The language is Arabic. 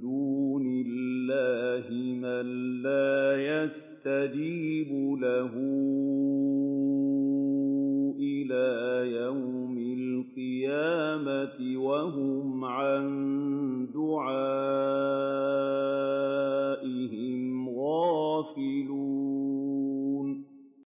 دُونِ اللَّهِ مَن لَّا يَسْتَجِيبُ لَهُ إِلَىٰ يَوْمِ الْقِيَامَةِ وَهُمْ عَن دُعَائِهِمْ غَافِلُونَ